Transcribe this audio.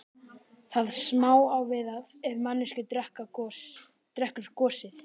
Það sama á við ef manneskja drekkur gosið.